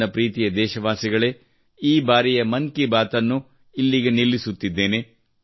ನನ್ನ ಪ್ರೀತಿಯ ದೇಶವಾಸಿಗಳೇ ಈ ಬಾರಿಯ ಮನ್ ಕಿ ಬಾತ್ ಅನ್ನು ಇಲ್ಲಿಗೆ ನಿಲ್ಲಿಸುತ್ತಿದ್ದೇನೆ